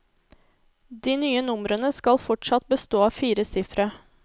De nye numrene skal fortsatt bestå av fire sifre.